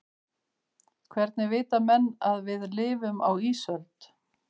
hvernig vita menn að við lifum á ísöld